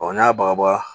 n'a baga ba